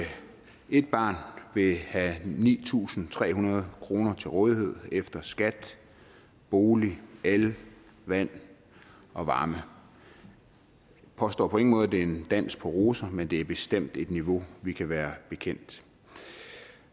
et barn vil have ni tusind tre hundrede kroner til rådighed efter skat boligudgifter el vand og varme jeg påstår på ingen måde at det er en dans på roser men det er bestemt et niveau vi kan være bekendt